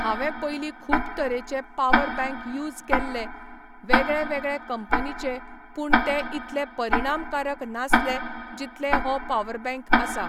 हांवें पयली खूब तरेचे पावर बँक यूज केल्ले वेगळेवेगळे कंपनीचे पूण ते इतले परिणामकारक नासले जितले हो पावर बँक आसा.